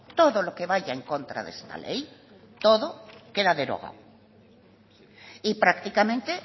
todo lo que vaya en contra de esta ley todo queda derogado y prácticamente